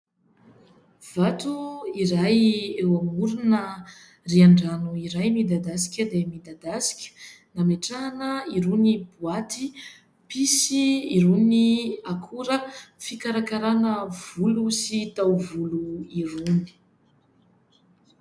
Vato iray eo amorona rihan-drano iray midadasika dia midadasika, nametrahana irony boaty mpisy irony akora fikarakarana volo sy taovolo irony.